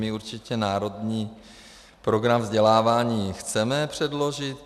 My určitě Národní program vzdělávání chceme předložit.